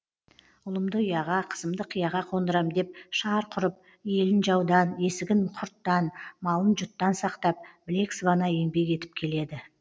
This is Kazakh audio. ұлымды ұяға қызымды қияға қондырам деп шарқ ұрып елін жаудан есігін құрттан малын жұттан сақтап білек сыбана еңбек етіп келеді